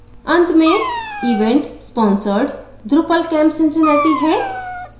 अंत में event sponsored drupalcamp cincinnati है